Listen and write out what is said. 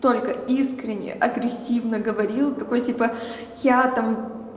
только искренне агрессивно говорил такой типа я там